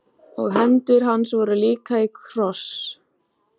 Og hendur hans voru líka í kross.